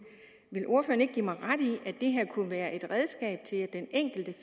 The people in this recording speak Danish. vil ordføreren ikke give mig ret i at det her kunne være et redskab til at den enkelte